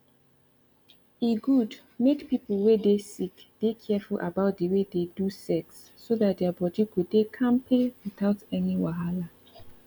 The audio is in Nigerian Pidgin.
e good make people wey dey sick dey careful about the way they do sex so that their body go dey kampe without any wahala